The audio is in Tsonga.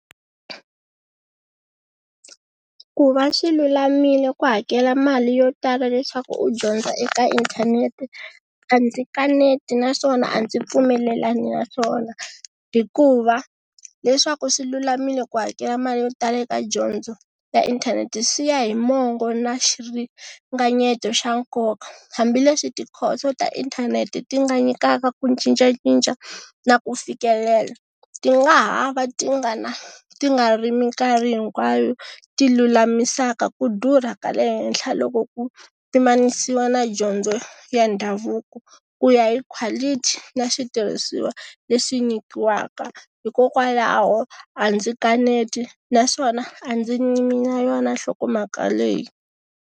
Ku va swi lulamile ku hakela mali yo tala leswaku u dyondza eka inthanete a ndzi kaneti naswona a ndzi pfumelelani na swona hikuva leswaku swi lulamile ku hakela mali yo tala eka dyondzo ya inthanete swi ya hi mongo na xiringanyeto xa nkoka hambileswi tikhoso ta inthanete ti nga nyikaka ku cincacinca na ku fikelela ti nga ha va ti nga na ti nga ri minkarhi hinkwayo ti lulamisaka ku durha ka le henhla loko ku pimanisiwa na dyondzo ya ndhavuko ku ya hi quality na switirhisiwa leswi nyikiwaka hikokwalaho a ndzi kaneti naswona a ndzi yimi na yona nhlokomhaka leyi.